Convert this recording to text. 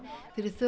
fyrir